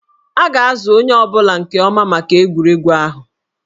A ga-azụ onye ọ bụla nke ọma maka egwuregwu ahụ